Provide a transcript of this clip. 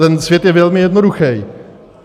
Ten svět je velmi jednoduchý.